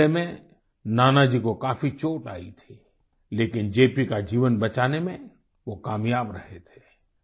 इस हमले में नानाजी को काफ़ी चोट आई थी लेकिन जे० पी० का जीवन बचाने में वो कामयाब रहे थे